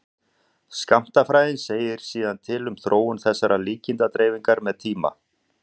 skammtafræðin segir síðan til um þróun þessarar líkindadreifingar með tíma